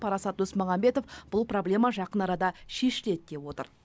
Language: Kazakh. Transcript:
парасат досмағамбетов бұл проблема жақын арада шешіледі деп отыр